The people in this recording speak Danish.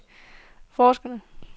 forskerne